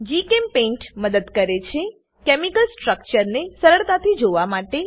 જીચેમ્પેઇન્ટ મદદ કરેછે કેમિકલ સ્ટ્રક્ચરને સરળતા થી જોવા માટે